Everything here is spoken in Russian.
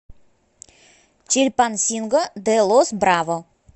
чильпансинго де лос браво